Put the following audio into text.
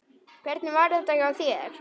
Hvernig var þetta hjá þér?